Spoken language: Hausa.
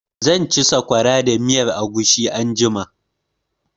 Zan ci sakwara da miyan agushi anjima.